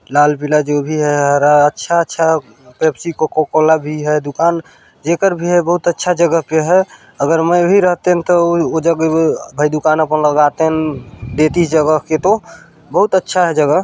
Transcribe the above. लाल पीला जो भी है हरा अच्छा-अच्छा पेप्सी कोका-कोला भी है दुकान जेकर भी है बहुत अच्छा जगह पे हैअगर मैं भी रहते तन उ जगह भाई दूकान अपन लगातन देतिस जगह के तो बहुत अच्छा है जगह--